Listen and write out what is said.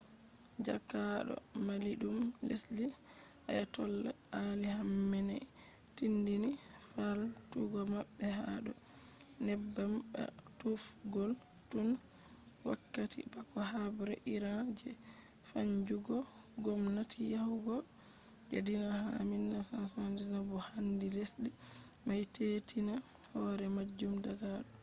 jaakaado maliiɗum lesdi ayatollah ali khamenei tinndini faaltugo maɓɓe ha do neebbam ba tuufgol” tun wakkati bako haɓre iran je sannjugo ngomnati yahugo je dina ha 1979 bo handi lesdi may teetina hore majum daga do